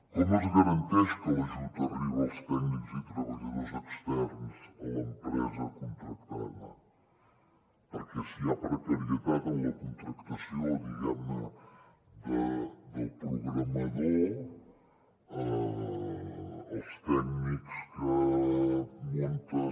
com es garanteix que l’ajut arriba als tècnics i treballadors externs a l’empresa contractada perquè si hi ha precarietat en la contractació diguem ne del programador els tècnics que munten